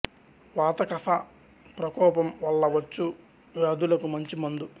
వాత కఫ ప్రకోపం వల్ల వచ్చు వ్యాధులకు మంచి మందు